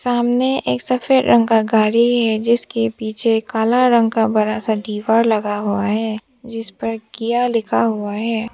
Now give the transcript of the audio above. सामने एक सफेद रंग का गाड़ी है जिसके पीछे काला रंग का बड़ा सा दीवार लगा हुआ है जिस पर किया लिखा हुआ है।